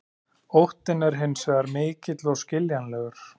Óttinn er hins vegar mikill og skiljanlegur.